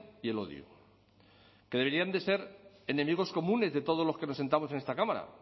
y el odio que deberían de ser enemigos comunes de todos los que nos sentamos en esta cámara